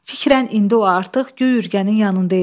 Fikrən indi o artıq göy ürgənin yanında idi.